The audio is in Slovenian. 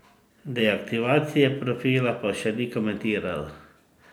Deaktivacije profila pa še ni komentiral.